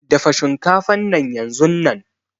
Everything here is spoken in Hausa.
Dafa shinkafan nan yanzunnan.